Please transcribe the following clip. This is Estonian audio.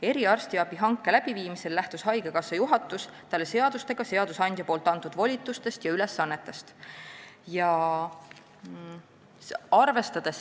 Eriarstiabi hanke läbiviimisel lähtus haigekassa juhatus talle seadustega, seadusandja antud volitustest ja ülesannetest.